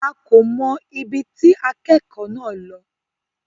A kò mọ̀ ibi tí akẹ́kọ̀ọ́ náà lọ.